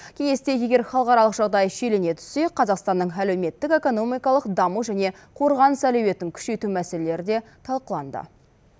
кеңесте егер халықаралық жағдай шиелене түссе қазақстанның әлеуметтік экономикалық даму және қорғаныс әлеуетін күшейту мәселелері де талқыланды